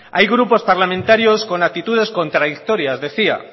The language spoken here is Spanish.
hay grupos parlamentarios con actitudes contradictorias decía